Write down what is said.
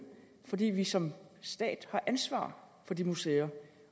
fordi vi som stat har ansvar for de museer